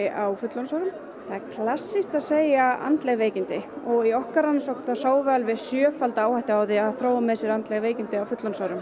á fullorðinsárum það er klassískt að segja andleg veikindi og í okkar rannsókn sáum við alveg sjöfalda áhættu á því að þróa með sér andleg veikindi á fullorðinsárum